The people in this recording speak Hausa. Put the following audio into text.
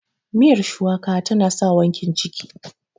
miyar shuwaka tana sa wankin ciki